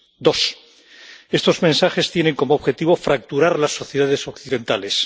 Dos, estos mensajes tienen como objetivo fracturar las sociedades occidentales.